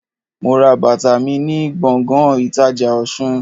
Mo ra bàtà mi ni gbòngàn ìtajà Òsun